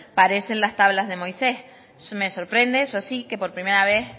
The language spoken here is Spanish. parecen las tablas de moisés me sorprende eso sí que por primera vez